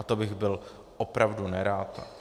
A to bych byl opravdu nerad.